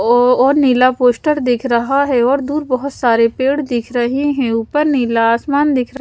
और नीला पोस्टर दिख रहा है और दूर बहुत सारे पेड़ दिख रहे हैं ऊपर नीला आसमान दिख रहा है।